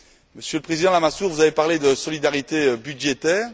Monsieur le président Lamassoure, vous avez parlé de solidarité budgétaire.